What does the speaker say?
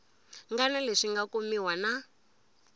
ngana leswi nga kumiwa na